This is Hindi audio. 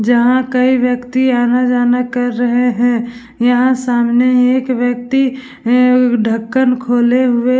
जहाँ कई व्यक्ति आना-जाना कर रहे हैं यहाँ सामने एक व्यक्ति अअं ढक्कन खोले हुए --